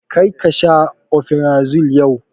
Kar ka sha omeferazole yau!